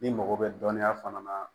N'i mago bɛ dɔnniya fana na